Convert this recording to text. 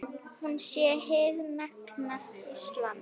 Hún sé hið nakta Ísland.